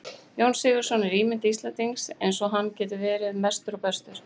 Jón Sigurðsson er ímynd Íslendingsins eins og hann getur verið mestur og bestur.